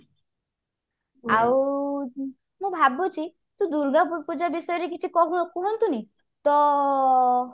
ଆଉ ମୁଁ ଭାବୁଛି ତୁ ଦୂର୍ଗାପୂଜା ବିଷୟରେ କିଛି କହୁ କୁହନ୍ତୁନି ତ